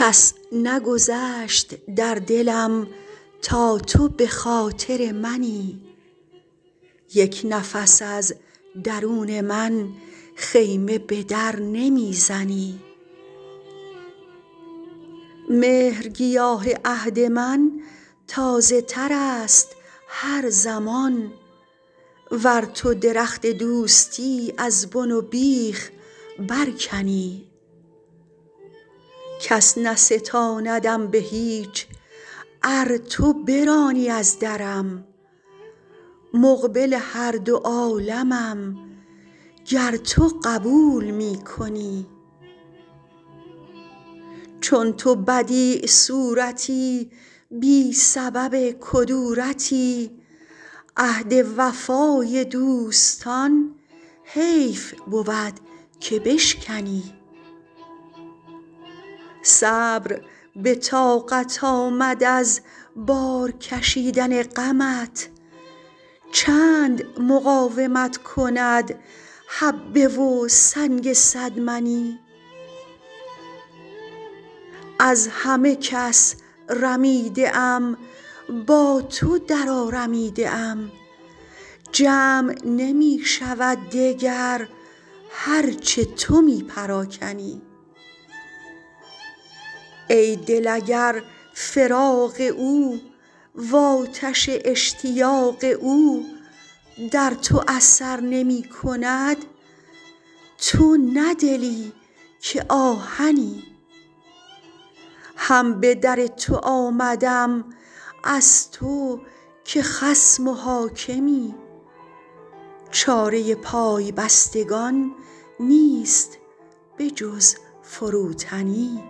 کس نگذشت در دلم تا تو به خاطر منی یک نفس از درون من خیمه به در نمی زنی مهرگیاه عهد من تازه تر است هر زمان ور تو درخت دوستی از بن و بیخ برکنی کس نستاندم به هیچ ار تو برانی از درم مقبل هر دو عالمم گر تو قبول می کنی چون تو بدیع صورتی بی سبب کدورتی عهد وفای دوستان حیف بود که بشکنی صبر به طاقت آمد از بار کشیدن غمت چند مقاومت کند حبه و سنگ صد منی از همه کس رمیده ام با تو درآرمیده ام جمع نمی شود دگر هر چه تو می پراکنی ای دل اگر فراق او وآتش اشتیاق او در تو اثر نمی کند تو نه دلی که آهنی هم به در تو آمدم از تو که خصم و حاکمی چاره پای بستگان نیست به جز فروتنی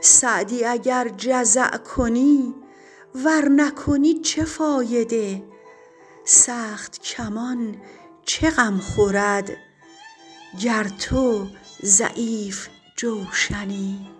سعدی اگر جزع کنی ور نکنی چه فایده سخت کمان چه غم خورد گر تو ضعیف جوشنی